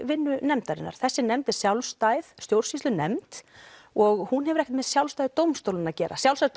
vinnu nefndarinnar þessi nefnd er sjálfstæð stjórnsýslunefnd og hún hefur ekkert með sjálfstæði dómstólanna að gera sjálfstæði